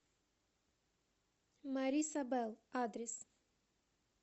марисабэл адрес